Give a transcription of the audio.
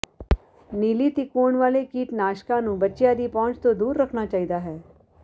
ਨੀਲੀ ਤਿਕੋਣ ਵਾਲੇ ਕੀਟਨਾਸ਼ਕਾਂ ਨੂੰ ਬੱਚਿਆਂ ਦੀ ਪਹੁੰਚ ਤੋਂ ਦੂਰ ਰੱਖਣਾ ਚਾਹੀਦਾ ਹੈ